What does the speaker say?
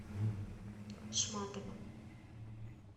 шматова